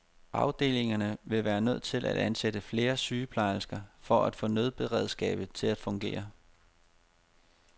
Afdelingerne ville være nødt til at ansætte flere sygeplejersker for at få nødberedskabet til at fungere.